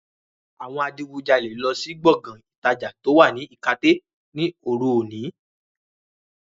Àwọn adigunjalè lọ sí Gbọ̀ngán ìtajà to wá ní ikate ni oru òní